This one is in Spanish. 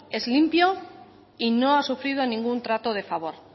es limpio y no ha sufrido ningún trato de favor